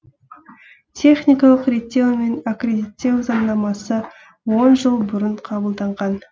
техникалық реттеу мен акредиттеу заңнамасы он жыл бұрын қабылданған